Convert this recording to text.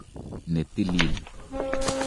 ne tilil.